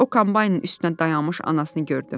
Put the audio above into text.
O kombaynın üstündə dayanmış anasını gördü.